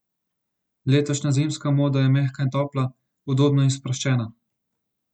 Letošnja zimska moda je mehka in topla, udobna in sproščena.